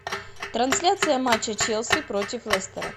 трансляция матча челси против лестера